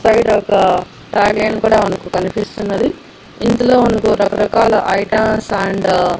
Side ఒక tag line కూడా మనకు కనిపిస్తున్నది ఇందులో మనకు రకరకాల ఐటమ్స్ అండ్ .